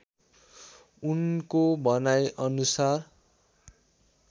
उनको भनाइ अनुसार